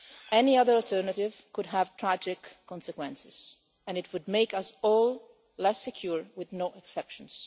Any other alternative could have tragic consequences and it would make us all less secure, with no exceptions.